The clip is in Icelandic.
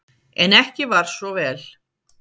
En ekki var svo vel.